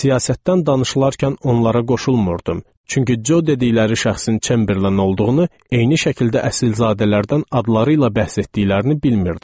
Siyasətdən danışılarkən onlara qoşulmurdim, çünki Co dedikləri şəxsin Çemberlen olduğunu, eyni şəkildə əsilzadələrdən adları ilə bəhs etdiklərini bilmirdim.